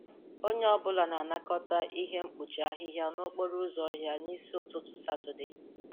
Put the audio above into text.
Onye ọ bụla na-anakọta ihe mkpuchi ahịhịa n'okporo ụzọ ọhịa n'isi ụtụtụ Satọde.